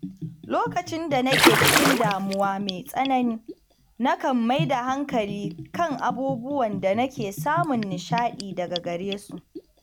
Lokacin da nake cikin damuwa mai tsanani, nakan maida hankali kan abubuwan da nake samun nishaɗi daga gare su.